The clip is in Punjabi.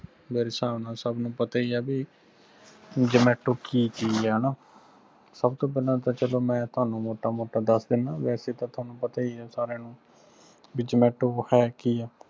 ਮੇਰੇ ਸਾਬ ਨਾਲ ਸਬ ਨੂੰ ਪਤਾ ਹੀ ਆ ਵੀ zomato ਕਿ ਚੀਜ ਆ ਨਾ ਸਬ ਤੋਂ ਪਹਿਲਾ ਮੈ ਮੋਟਾ ਮੋਟਾ ਦਸ ਦੀਨਾ ਵੈਸੇ ਤਾ ਤੁਹਾਨੂੰ ਪਤਾ ਹੀ ਨਾ ਵੀ zomato ਹੈ ਕਿ ਆ